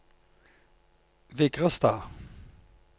Vigrestad